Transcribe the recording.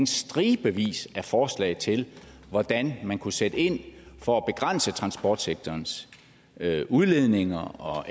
stribevis af forslag til hvordan man kunne sætte ind for at begrænse transportsektorens udledninger og